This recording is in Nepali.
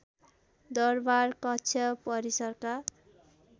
दरबार कक्ष परिसरका